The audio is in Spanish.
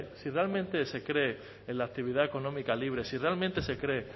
si realmente se cree en la actividad económica libre si realmente se cree